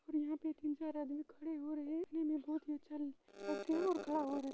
और यहाँ पे तीन चार आदमी खड़े हो रहे हैं दिखने मे बहोत ही अच्छा खड़ा हो रहे --